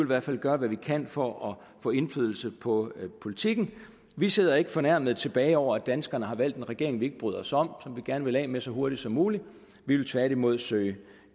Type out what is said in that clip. hvert fald gøre hvad vi kan for at få indflydelse på politikken vi sidder ikke fornærmede tilbage over at danskerne har valgt en regering vi ikke bryder os om og som vi gerne vil af med så hurtigt som muligt vi vil tværtimod søge